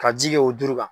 Ka ji kɛ o du kan